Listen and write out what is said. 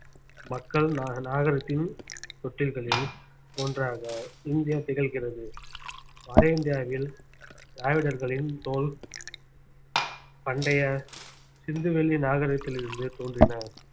மக்கள் நாக~ நாகரிகத்தின் தொட்டில்களில் ஒன்றாக இந்தியா திகழ்கிறது வட இந்தியாவில் திராவிடர்களின் தோல் பண்டைய சிந்துவெளி நாகரிகத்தில் இருந்து தோன்றின